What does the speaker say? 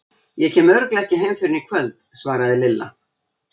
Ég kem örugglega ekki heim fyrr en í kvöld, svaraði Lilla.